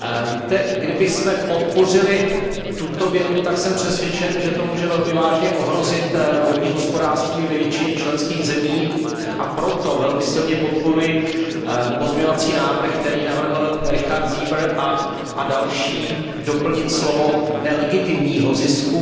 Víte, kdybychom podpořili tuto větu, tak jsem přesvědčen, že to může velmi vážně ohrozit vodní hospodářství ve většině členských zemí, a proto velmi silně podporuji pozměňovací návrh, který předložil Richard Seeber a další, na doplnění slova nelegitimního zisku.